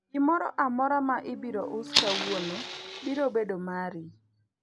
gimoro amora ma ibiro us kawuono biro bedo mari